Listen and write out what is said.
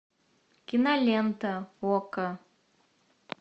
кинолента окко